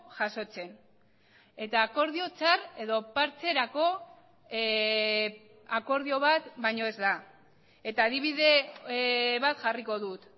jasotzen eta akordio txar edo partxerako akordio bat baino ez da eta adibide bat jarriko dut